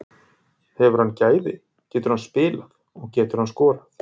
Hefur hann gæði, getur hann spilað og getur hann skorað?